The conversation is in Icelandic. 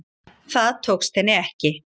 Það tókst henni ekki